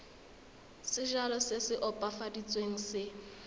sejalo se se opafaditsweng se